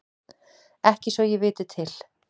Ekki svo ég viti til.